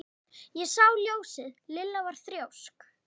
Ég sá ljósið. Lilla var þrjósk.